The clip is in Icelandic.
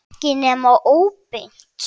Ekki nema óbeint.